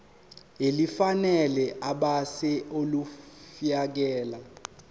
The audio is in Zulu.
elifanele ebese ulifiakela